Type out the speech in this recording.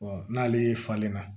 n'ale falen na